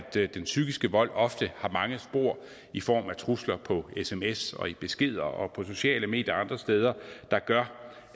den psykiske vold ofte har mange spor i form af trusler på sms og i beskeder og på sociale medier og andre steder der gør